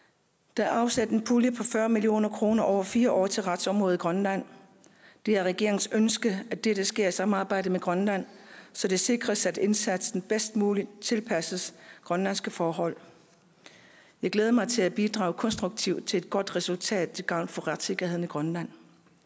der er afsat en pulje på fyrre million kroner over fire år til retsområdet i grønland det er regeringens ønske at dette sker i samarbejde med grønland så det sikres at indsatsen bedst muligt tilpasses grønlandske forhold jeg glæder mig til at bidrage konstruktivt til et godt resultat til gavn for retssikkerheden i grønland